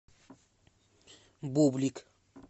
бублик